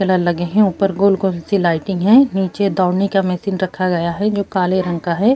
Pillar لگے ہے اپر گول گول سی لائٹنگ ہے۔ نیچے دوڑنے کا مشین رکھا گیا ہے۔ جو کالے رنگ کا ہے